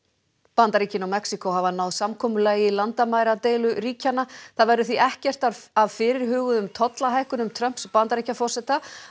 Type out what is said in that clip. Bandaríkin og Mexíkó hafa náð samkomulagi í landamæradeilu ríkjanna það verður því ekkert af fyrirhuguðum tollahækkunum Trumps Bandaríkjaforseta